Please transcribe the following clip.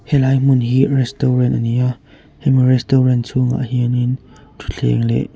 helai hmun hi restaurant a ni a hemi restaurant chhungah hianin ṭhuthleng leh--